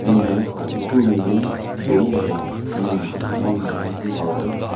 memeng kaw tu ne num dunk lona mun kasam bam meh haw weh.